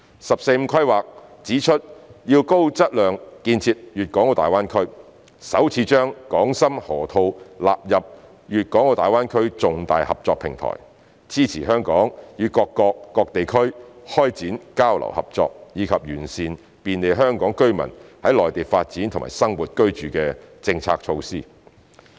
"十四五"規劃指出要高質量建設粵港澳大灣區，首次將深港河套納入粵港澳大灣區重大合作平台，支持香港與各國、各地區開展交流合作，以及完善便利香港居民在內地發展和生活居住的政策措施。